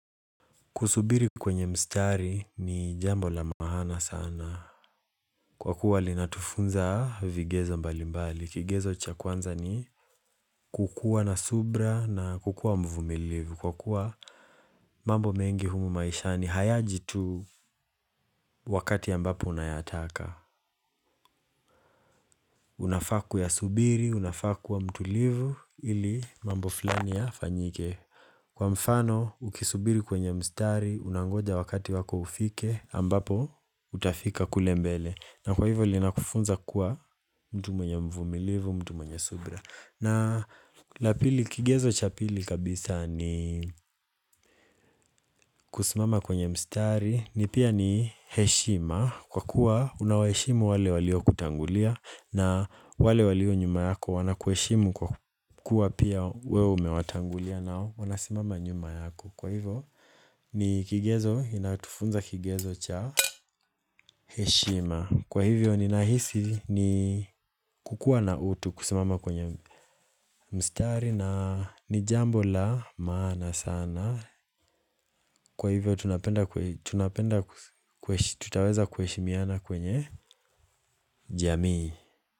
Kusubiri kwenye mstari ni jambo la maana sana. Kwa kuwa linatufunza vigezo mbali mbali. Kigezo cha kwanza ni kukua na subira na kukua mvumilivu. Kwa kuwa mambo mengi humu maisha ni hayaji tu wakati ambapo unayataka. Unafaa kuyasubiri, unafaa kuwa mtulivu ili mambo filani ya fanyike. Kwa mfano, ukisubiri kwenye mstari, unangoja wakati wako ufike, ambapo, utafika kule mbele. Na kwa hivo, linakufunza kuwa mtu mwenye mvumilivu, mtu mwenye subra. Na la pili, kigezo cha pili kabisa ni kusimama kwenye mstari, ni pia ni heshima. Kwa kuwa, unaweshimu wale walio kutangulia, na wale walio nyuma yako wanakueshimu kwa kuwa pia wewe umewatangulia nao. Wanasimama nyuma yako. Kwa hivyo ni kigezo inatufunza kigezo cha heshima. Kwa hivyo ni nahisi ni kukua na utu kusimama kwenye mstari na ni jambo la maana sana. Kwa hivyo tutaweza kueshimiana kwenye jamii.